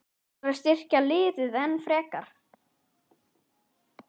Ætlarðu að styrkja liðið enn frekar?